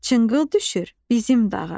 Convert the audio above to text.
Çınqıl düşür bizim dağa.